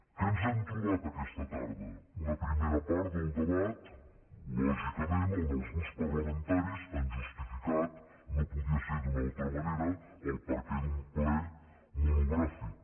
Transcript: què ens hem trobat aquesta tarda una primera part del debat lògicament on els grups parlamentaris han justificat no podia ser d’una altra manera el perquè d’un ple monogràfic